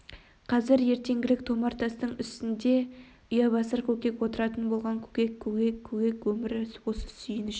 қазір ертеңгілік томар тастың үстінде ұябасар көкек отыратын болған көкек көкек көкек өмір осы сүйініш